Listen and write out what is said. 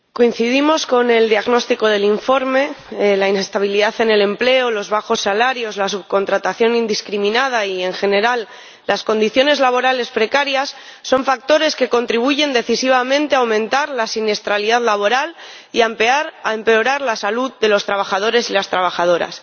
Señor Presidente, coincido con el diagnóstico del informe la inestabilidad en el empleo, los bajos salarios, la subcontratación indiscriminada y, en general, las condiciones laborales precarias son factores que contribuyen decisivamente a aumentar la siniestralidad laboral y a empeorar la salud de los trabajadores y las trabajadoras.